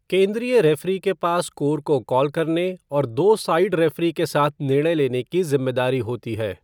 केंद्रीय रेफ़री के पास स्कोर को कॉल करने और दो साइड रेफ़री के साथ निर्णय लेने की जिम्मेदारी होती है।